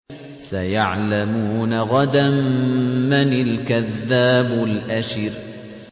سَيَعْلَمُونَ غَدًا مَّنِ الْكَذَّابُ الْأَشِرُ